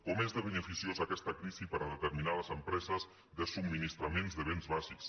com és de beneficiosa aquesta crisi per a determinades empreses de subministraments de béns bàsics